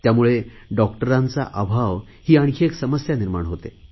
त्यामुळे डॉक्टरांचा अभाव ही आणखी एक समस्या निर्माण होते